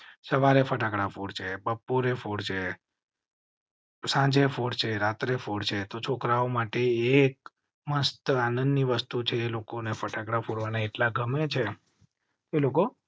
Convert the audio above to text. સવારે ફટાકડા ફોડજે. સાંજે ફોડજે રાત્રે ફોડજે છે તો છોકરાઓ માટે એક મસ્ત આનંદ ની વસ્તુ છે. લોકોને ફટાકડા ફોડવા ના એટલા ગમે છે.